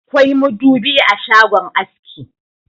Akwai madubi a shagon aski.